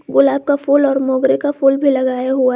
गुलाब का फूल और मोगरे का फूल भी लगाया हुआ--